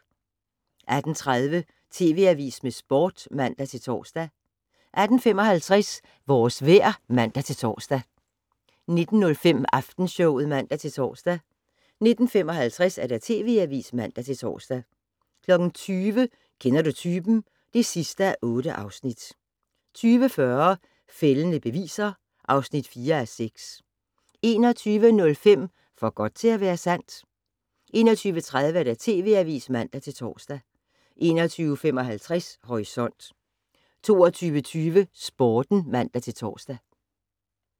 18:30: TV Avisen med Sporten (man-tor) 18:55: Vores vejr (man-tor) 19:05: Aftenshowet (man-tor) 19:55: TV Avisen (man-tor) 20:00: Kender du typen? (8:8) 20:40: Fældende beviser (4:6) 21:05: For godt til at være sandt? 21:30: TV Avisen (man-tor) 21:55: Horisont 22:20: Sporten (man-tor)